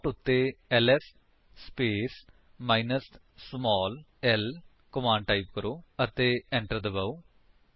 prompt ਉੱਤੇ LS space minus small l command type ਕਰੋ ਅਤੇ enter ਦਬਾਓ